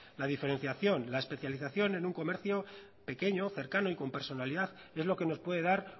la diferenciación la especialización en un comercio pequeño cercano y con personalidad es lo que nos puede dar